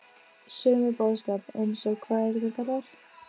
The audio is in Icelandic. Sögu með boðskap: eins og- hvað eru þær kallaðar?